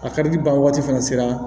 A karili ban wagati fɛnɛ sera